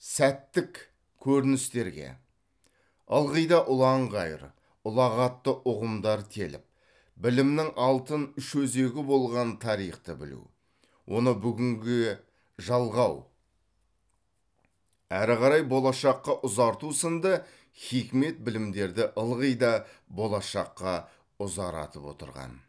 сәттік көріністерге ылғида ұлан ғайыр ұлағатты ұғымдар теліп білімнің алтын үш өзегі болған тарихты білу оны бүгінгіге жалғау ары қарай болашаққа ұзарту сынды хикмет білімдерді ылғи да болашаққа ұзаратып отырған